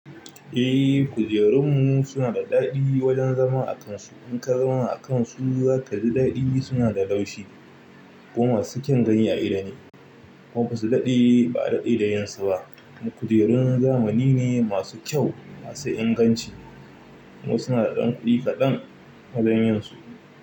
Eh, kujerun mu suna da daɗi wajen zama a kansu. In ka zauna a kansu za ka ji daɗi, suna da laushi kuma sukyan ganya idone. Kuma ba su daɗe, ba a daɗe da yinsuba. Kujerun zamani ne masu kyau masu inganci kuma suna da ɗan kuɗi kaɗan wajen yinsu.